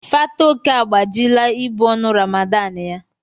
Fatoke agbajila ibu ọnụ Ramadan ya.